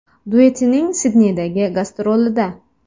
duetining Sidneydagi gastrolida.